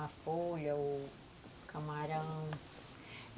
A folha, o camarão.